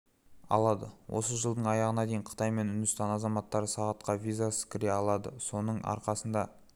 алады осы жылдың аяғына дейін қытай мен үндістан азаматтары сағатқа визасыз кіре алады соның арқасында